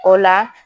O la